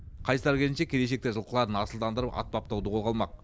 қайсар келіншек келешекте жылқыларын асылдандырып ат баптауды қолға алмақ